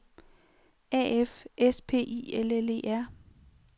A F S P I L L E R